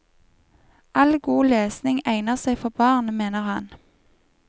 All god lesning egner seg for barn, mener han.